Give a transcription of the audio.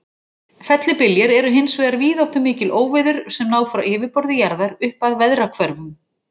Fellibyljir eru hins vegar víðáttumikil óveður sem ná frá yfirborði jarðar upp að veðrahvörfum.